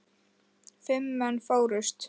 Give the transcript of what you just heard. Fimm menn fórust.